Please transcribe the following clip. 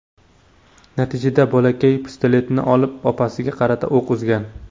Natijada bolakay pistoletni olib, opasiga qarata o‘q uzgan.